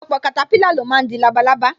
Ọpọlọpọ katapila lo máa ń di labalábá